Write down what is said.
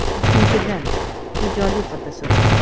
Ikkinchidan, ijodiy fotosurat.